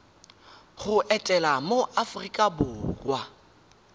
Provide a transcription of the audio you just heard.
go etela mo aforika borwa